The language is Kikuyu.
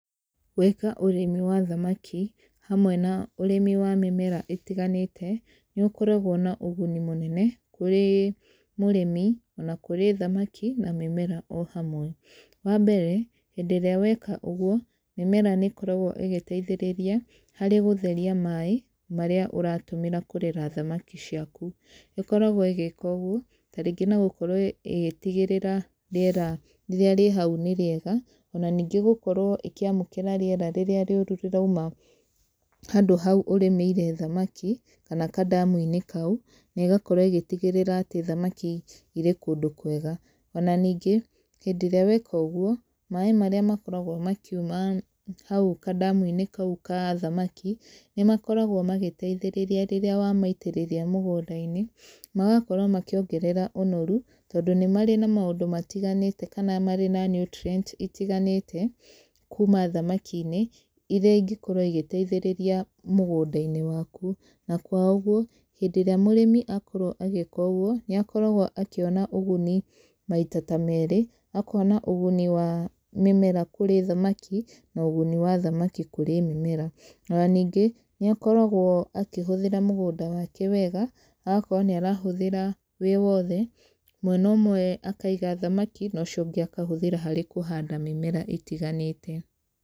Gwĩka ũrĩmi wa thamaki, hamwe na ũrĩmi wa mĩmera ĩtiganĩte, nĩ gũkoragwo na ũguni mũnene, kũrĩ mũrĩmi, ona kũrĩ thamaki, na mĩmera o hamwe. Wa mbere, hĩndĩ ĩrĩa weka ũguo, mĩmera nĩ ĩkoragwo ĩgĩteithĩrĩria, harĩ gũtheria maaĩ, marĩa ũratũmĩra kũrera thamaki ciaku. Ĩkoragwo ĩgĩka ũguo, tarĩngĩ na gũkorwo ĩgĩtigĩrĩra rĩera rĩrĩa rĩ hau nĩ rĩega. Ona ningĩ gũkorwo ĩkĩamũkĩra rĩera rĩrĩa rĩũru rĩrauma handũ hau ũrĩmĩire thamaki, kana kandamu-inĩ kau, na ĩgakorwo ĩgĩtigĩrĩra atĩ thamaki irĩ kũndũ kwega. Ona ningĩ, hĩndĩ ĩrĩa weka ũguo, maaĩ marĩa makoragwo makiuma hau kandamu-inĩ kau ka thamaki, nĩ makoragwo magĩteithĩrĩria rĩrĩa wamaitĩrĩria mũgũnda-inĩ, magakorwo makĩongerera ũnoru, tondũ nĩ marĩ na maũndũ matiganĩte kana marĩ na nutrients itiganĩte, kuuma thamaki-inĩ, irĩa ingĩkorwo igĩteithĩrĩria mũgũnda-inĩ waku. Na kwa ũguo, hĩndĩ ĩrĩa mũrĩmi akorwo agĩĩka ũguo, nĩ akoragwo akĩona ũguni maita ta meerĩ, akona ũguni wa mĩmera kũrĩ thamaki, na ũguni wa thamaki kũrĩ mĩmera. Ona ningĩ, nĩ akoragwo akĩhũthĩra mũgũnda wake wega, agakorwo nĩ arahũthĩra wĩ wothe, mwena ũmwe akaiga thamaki, na ũcio ũngĩ akahũthĩra harĩ kũhanda mĩmera ĩtiganĩte.